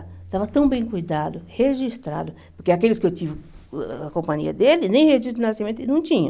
Estava tão bem cuidado, registrado, porque aqueles que eu tive a companhia dele, nem registro de nascimento, ele não tinha.